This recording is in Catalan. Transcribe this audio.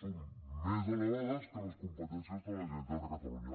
són més elevades que les competències de la generalitat de catalunya